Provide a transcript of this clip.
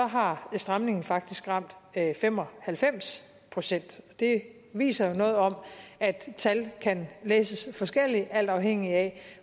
har stramningen faktisk ramt fem og halvfems procent det viser jo noget om at tal kan læses forskelligt alt afhængigt af